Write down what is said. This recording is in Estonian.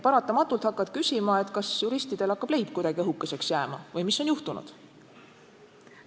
Paratamatult hakkad küsima, kas juristidel hakkab leib kuidagi õhukeseks jääma või mis on juhtunud.